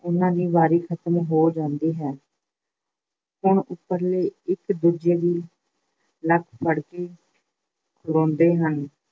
ਉਹਨਾਂ ਦੀ ਵਾਰੀ ਖ਼ਤਮ ਹੋ ਜਾਂਦੀ ਹੈ। ਹੁਣ ਉੱਪਰਲੇ ਇੱਕ- ਦੂਜੇ ਦੀ ਨੱਕ ਫੜ ਕੇ ਖਲੋਂਦੇ ਹਨ